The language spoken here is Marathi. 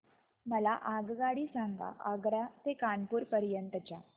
मला आगगाडी सांगा आग्रा ते कानपुर पर्यंत च्या